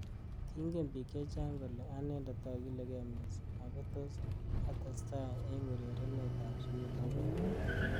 Kingen bik. chechang kole anendet akiligei missing ako tos atestai eng urerenet ab sukul akoi.